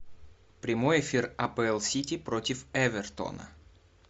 прямой эфир апл сити против эвертона